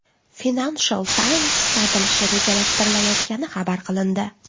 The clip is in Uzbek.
Financial Times sotilishi rejalashtirilayotgani xabar qilindi.